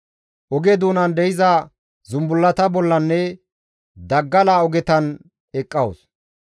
Oge doonan de7iza zumbullata bollanne daggala ogetan eqqawus.